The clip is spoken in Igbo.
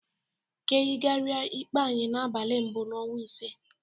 Ka eyigaria ikpe anyị n'abalị mbụ n'ọnwa ise.